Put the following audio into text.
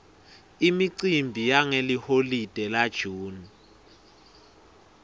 imicimbi yangeliholide la june